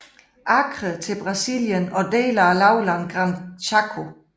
Acre til Brasilien og dele af lavlandet Gran Chaco